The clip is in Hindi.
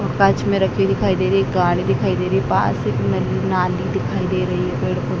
कांच में रखी दिखाई दे रही है गाड़ी दिखाई दे रही है पास एक नली नाली दिखाई दे रही है पेड़-पौ --